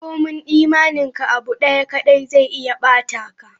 Kome imaninka, abu daya kadai zai iya ba-ta ka.